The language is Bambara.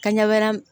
Ka ɲɛ wɛrɛ